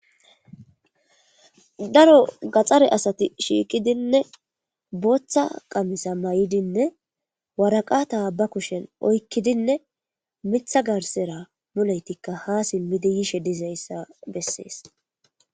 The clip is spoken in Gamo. Daro gaaxare asati shiiqidinne booththa laxana mayidinne waraqata ba kushshen oykidinne miiththa garssera muullettikka ha siimidii yoshshe dizayssa besses